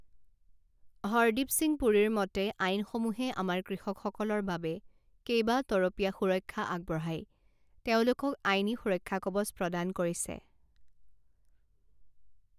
হৰদ্বীপ সিং পুৰীৰ মতে আইনসমূহে আমাৰ কৃষকসকলৰ বাবে কেইবা তৰপীয়া সুৰক্ষা আগবঢ়াই তেওঁলোকক আইনী সুৰক্ষাকৱচ প্ৰদান কৰিছে